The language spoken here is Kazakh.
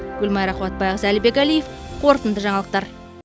гүлмайра қуатбайқызы әлібек әлиев қорытынды жаңалықтар